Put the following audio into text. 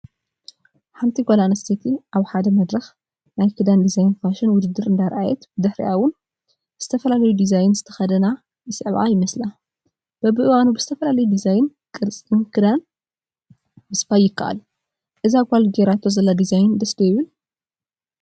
ሓንቲ ጓል ኣነስተይቲ ኣብ ሓደ መድረኽ ናይ ክዳን ዲዛይንን ፋሽንን ውድድር እንዳርኣየት ብድሕሪኣ ውን ዝተፈላለየ ዲዛይን ዝተኸደና ይስዕባ ይመስላ፡፡ በቢእዋኑ ብዝተፈላለየ ዲዛይንን ቅርፅን ክዳን ምስፋይ ይካኣል፡፡ እዛ ጓል ጌራቶ ዘላ ዲዛይን ደስ ዶ ይብል?